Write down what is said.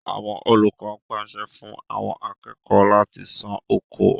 Àwọn olùkọ pàṣẹ fún àwọn akẹ́kọ̀ọ́ láti sán oko.